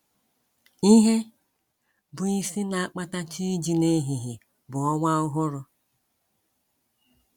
Ihe bụ́ isi na - akpata chi iji n’ehihie bụ ọnwa ọhụrụ.